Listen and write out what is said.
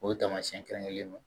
O taamasiyɛn kɛrɛnkɛrɛnlen don